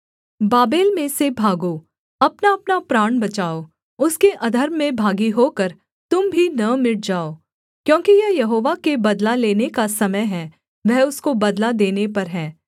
Babel में से भागो अपनाअपना प्राण बचाओ उसके अधर्म में भागी होकर तुम भी न मिट जाओ क्योंकि यह यहोवा के बदला लेने का समय है वह उसको बदला देने पर है